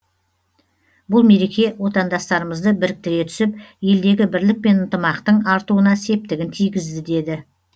бұл мереке отандастарымызды біріктіре түсіп елдегі бірлік пен ынтымақтың артуына септігін тигізді деді